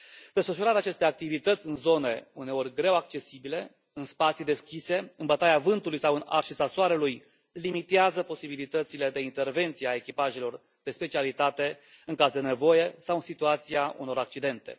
Desfășurarea acestor activități în zone uneori greu accesibile, în spații deschise, în bătaia vântului sau în arșița soarelui limitează posibilitățile de intervenție a echipajelor de specialitate în caz de nevoie sau în situația unor accidente.